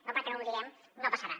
no perquè no ho diguem no passarà